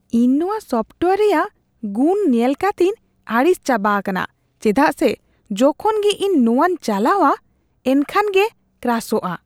ᱤᱧ ᱱᱚᱶᱟ ᱥᱳᱯᱴᱚᱣᱮᱭᱟᱨ ᱨᱮᱭᱟᱜ ᱜᱩᱱ ᱧᱮᱞ ᱠᱟᱹᱛᱤᱧ ᱟᱹᱲᱤᱥ ᱪᱟᱵᱟ ᱟᱠᱟᱱᱟ ᱪᱮᱫᱟᱜ ᱥᱮ ᱡᱚᱠᱷᱚᱱ ᱜᱮ ᱤᱧ ᱱᱚᱶᱟᱧ ᱪᱟᱞᱟᱣᱟ ᱮᱱᱠᱷᱟᱱ ᱜᱮ ᱠᱨᱟᱥᱚᱜᱼᱟ ᱾